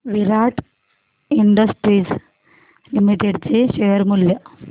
विराट Industries Limited चे share मूल्य